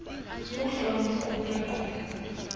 uhlolo luqhutywe qho